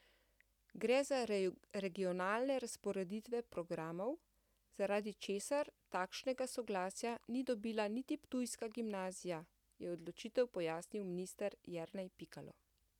Gre za regionalne razporeditve programov, zaradi česar takšnega soglasja ni dobila niti ptujska gimnazija, je odločitev pojasnil minister Jernej Pikalo.